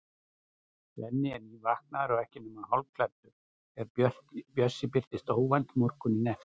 Svenni er nývaknaður og ekki nema hálfklæddur þegar Bjössi birtist óvænt morguninn eftir.